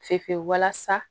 Fe fe fe walasa